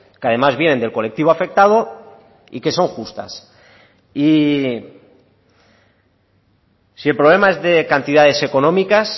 que además vienen del colectivo afectado y que son justas y si el problema es de cantidades económicas